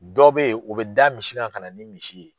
Dɔ be ye, o be da misi kan kana ni misi ye.